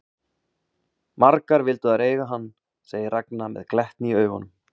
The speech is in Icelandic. Margar vildu þær eiga hann, segir Ragna með glettni í augunum.